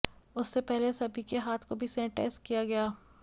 उससे पहले सभी के हाथ को भी सेनेटाइज़ किया गया